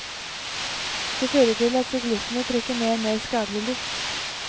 Det fører til at syklistene trekker ned mer skadelig luft.